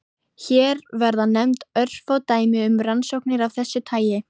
Hér verða nefnd örfá dæmi um rannsóknir af þessu tagi.